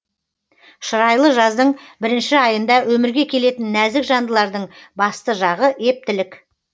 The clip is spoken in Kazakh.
шырайлы жаздың бірінші айында өмірге келетін нәзік жандылардын басты жағы ептілік